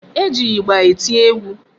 E ji ịgba eti egwu.